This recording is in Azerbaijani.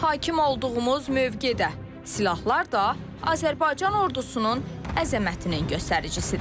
Hakim olduğumuz mövqe də, silahlar da Azərbaycan ordusunun əzəmətinin göstəricisidir.